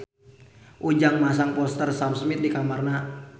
Ujang masang poster Sam Smith di kamarna